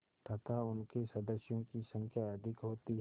तथा उनके सदस्यों की संख्या अधिक होती है